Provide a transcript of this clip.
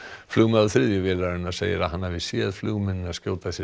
flugmaður þriðju vélarinnar segir að hann hafi séð flugmennina skjóta sér